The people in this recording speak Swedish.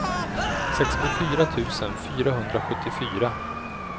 sextiofyra tusen fyrahundrasjuttiofyra